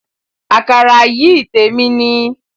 Àkàrà yìí témi ni